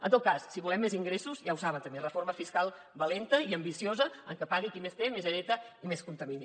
en tot cas si volem més ingressos ja ho saben també reforma fiscal valenta i ambiciosa en què pagui qui més té més hereta i més contamina